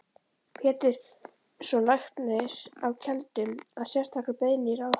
Péturssonar læknis á Keldum, að sérstakri beiðni ráðherra.